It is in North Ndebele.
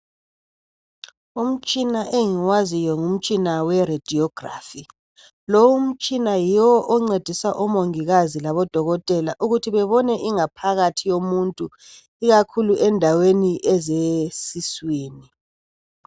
Umtshina engiwaziyo, ngumtshina weRadiography. Lowu umtshina yiwo oncedisa omongikazi labodokotela, ukuthi bebone ingaphakathi yomuntu. Ikakhulu endaweni zesiswini.